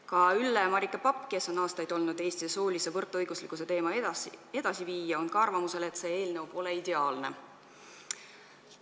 Ka Ülle-Marike Papp, kes on aastaid olnud Eestis soolise võrdõiguslikkuse teema edasiviija, on arvamusel, et see eelnõu pole ideaalne.